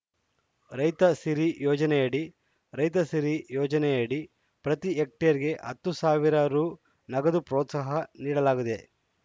ರೈತ ಸಿರಿ ಯೋಜನೆಯಡಿ ರೈತಸಿರಿ ಯೋಜನೆಯಡಿ ಪ್ರತಿ ಹೆಕ್ಟೇರ್‌ಗೆ ಹತ್ತು ಸಾವಿರ ರೂ ನಗದು ಪ್ರೋತ್ಸಾಹ ನೀಡಲಾಗಿದೆ